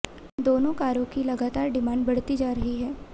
दोनों कारों की लगातार डिमांड बढ़ती जा रही है